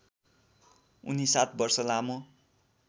उनी ७ वर्ष लामो